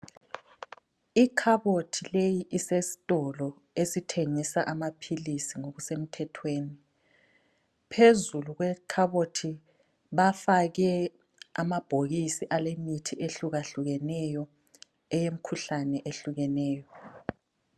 Ikhabothi leyi isesitolo esithengisa amaphilisi ngokusemthethweni phezulu kwekhabothi bafake amabhokisi alemithi ehlukahlukeneyo eyemkhuhlane ehlukeneyo